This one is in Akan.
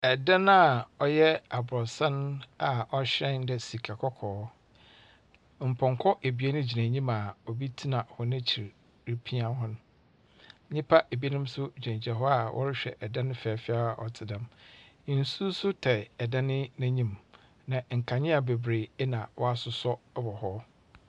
Dan a ɔyɛ aborosan a ɔhyerɛn dɛ sika kɔkɔɔ. Mpɔnkɔ ebien gyina anim a obi tsena hɔn ekyir repia hɔn. Nnipa ebinom nso gyinagyina hɔ a wɔrehwɛ dan fɛɛfɛɛ a ɔte dɛm. Nsu nso tae dan yi anim, na nkanea bebree na wɔasosɔ wɔ hɔ.